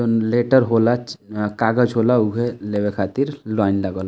यम्म्म letter होला चि कागज होला उहे लेवे खातिर लाइन लागल।